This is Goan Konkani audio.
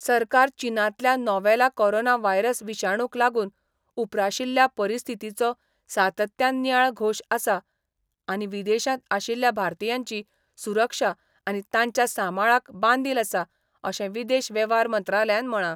सरकार चीनांतल्या नोव्हेला कोरोना वायरस विषाणूक लागून उप्राशिल्ल्या परिस्थितीचो सातत्यान नियाळ घोश आसा आनी विदेशांत आशिल्ल्या भारतीयांची सुरक्षा आनी तांच्या सांबाळाक बांदील आसा अशें विदेश वेव्हार मंत्रालयान म्हळां.